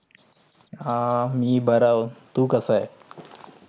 हा. मी बर अहो. तू कास आहे?